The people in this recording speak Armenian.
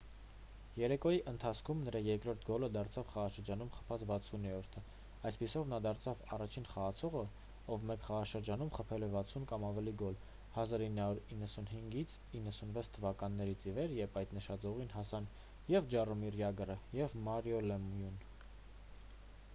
երեկոյի ընթացքում նրա երկրորդ գոլը դարձավ խաղաշրջանում խփած 60-րդը այդպիսով նա դարձավ առաջին խաղացողը ով մեկ խաղաշրջանում խփել է 60 կամ ավելի գոլ 1995-96 թվականներից ի վեր երբ այդ նշաձողին հասան և ջառոմիր ջագրը և մարիո լեմյուն